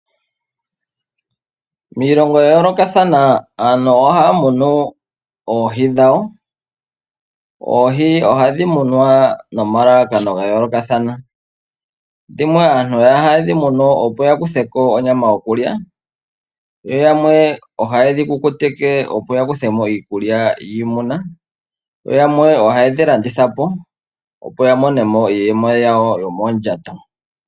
Miilongo ya yoolokathana aantu ohaa munu oohi dhawo ,oohi ohadhi munwa nomalalakano ga yoolokathana dhimwe aantu ohaye dhi munu opo ya kuthe ko onyama yokulya yo yamwe ohaye dhi kukutike opo yakuthe mo iikulya yimuna yo yamwe ohaye dhi landitha po opo ya mome mo iiyeme yawo yomoondjato.